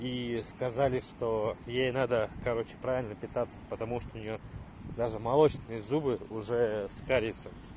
ии сказали что ей надо короче правильно питаться потому что у нее даже молочные зубы уже с кариесом